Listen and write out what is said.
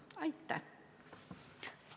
Aitäh!